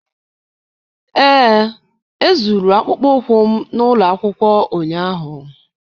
ee, Ezuru akpụkpọ ụkwụ m na ụlọ akwụkwọ ụnyaahụ